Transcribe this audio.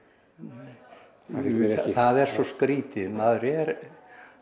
það er svo skrítið maður er